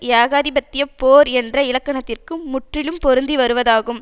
ஏகாதிபத்திய போர் என்ற இலக்கணத்திற்கு முற்றிலும் பொருந்தி வருவதாகும்